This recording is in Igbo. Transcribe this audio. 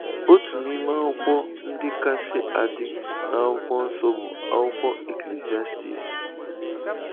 Otu n’ime akwụkwọ ndị kasị adị n’Akwụkwọ Nsọ bụ akwụkwọ Eklisiastis.